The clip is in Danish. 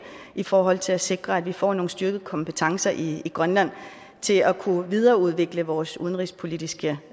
i forhold til at sikre at vi får nogle styrkede kompetencer i grønland til at kunne videreudvikle vores udenrigspolitiske